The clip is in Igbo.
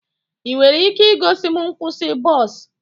Ị nwere ike igosi m nkwụsị bọs?